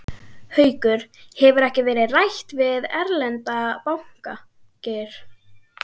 Haukur: Hefur ekkert verið rætt við erlenda banka, Geir?